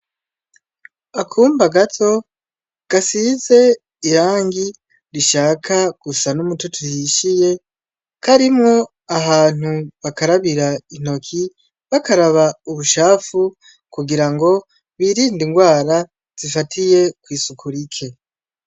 Akumba gato gasize irangi rishaka gusa n'umutoto uhishiye karimwo ahantu bakarabira intoki bakaraba ubucafu kugirango birinde ingwara zifatiye kw'isuku rike